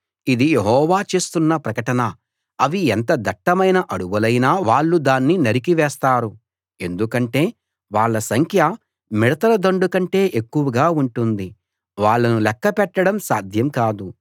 ఇది యెహోవా చేస్తున్న ప్రకటన అవి ఎంత దట్టమైన అడవులైనా వాళ్ళు దాన్ని నరికి వేస్తారు ఎందుకంటే వాళ్ళ సంఖ్య మిడతల దండు కంటే ఎక్కువగా ఉంటుంది వాళ్ళను లెక్క పెట్టడం సాధ్యం కాదు